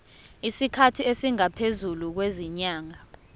isikhathi esingaphezulu kwezinyanga